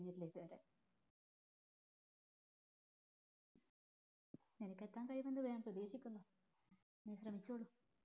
നിനക്ക് എതാൻ കഴിയുമെന്ന് ഞാൻ പ്രധീക്ഷിക്കുന്നു നീ ശ്രമിക്കിച്ചോളു